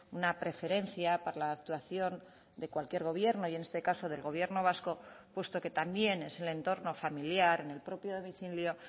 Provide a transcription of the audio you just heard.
una preferencia para la actuación de cualquier gobierno y en este caso del gobierno vasco puesto que también es el entorno familiar en el propio domicilio